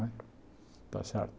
Não é está certo?